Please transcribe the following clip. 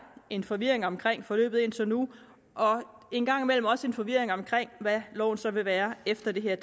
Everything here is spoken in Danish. en forvirring omkring forløbet indtil nu og en gang imellem også en forvirring omkring hvad loven så vil være efter at det her